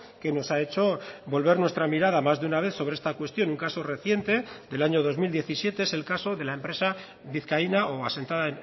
que nos ha hecho volver nuestra mirada más de una vez sobre esta cuestión un caso reciente del año dos mil diecisiete es el caso de la empresa vizcaína o asentada